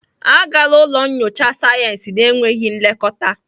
Agala ụlọ nyocha sayensị na-enweghị nlekọta!